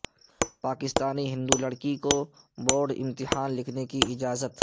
پاکستانی ہندو لڑکی کو بورڈ امتحان لکھنے کی اجازت